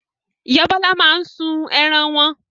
Ìyá Bọ́lá máa ń sun ẹran wọn.